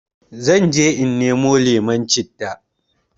Zanje in nemo lemon citta